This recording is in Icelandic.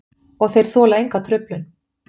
Og þeir þola enga truflun.